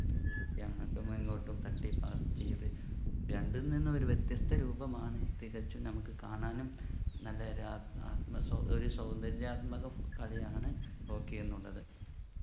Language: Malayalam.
അങ്ങോട്ടുമിങ്ങോട്ടും തട്ടി pass ചെയ്ത് രണ്ടിൽ നിന്ന് ഒരു വ്യത്യസ്ത രൂപമാണ് തികച്ചും നമുക്ക് കാണാനും നല്ലൊരു ആത്മ ആത്മ സൗന്ദര്യ ഒരു സൗന്ദര്യ ആത്മക കളിയാണ് hockey എന്നുള്ളത്